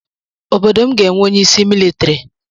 Obodo m ga-enwe onyeisi militiri.